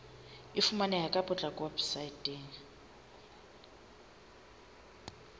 e fumaneha ka potlako weposaeteng